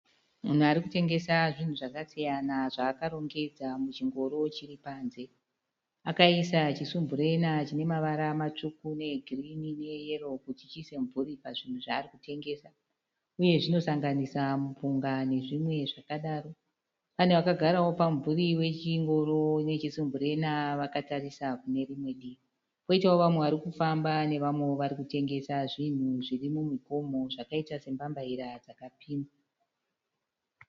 Munhu arikutengesa zvinhu zvakasiyana zvaakarongedza muchingoro chiripanze. Akaisa chisumburena chine mavara matsvuku, neegirinhi, neeyero kuti chiise mubvuri pazvinhu zvaari kutengesa . Uye zvinosanganisa mupunga nezvimwe zvakadaro . Pane vakagarawo pamumvuri wechingoro nechisumburena vakatarisa kunerimwe divi. koitawo vamwe varikufamba nevamwe varikutengesa zvinhu zviri mumugomo zvakaita sembambaira dzakapimwa.